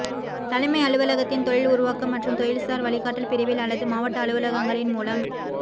தலைமை அலுவலகத்தின் தொழில் உருவாக்கம் மற்றும் தொழில்சார் வழிகாட்டல் பிரிவில் அல்லது மாவட்ட அலுவலகங்களின் மூலம்